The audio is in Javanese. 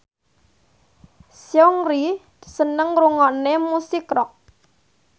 Seungri seneng ngrungokne musik rock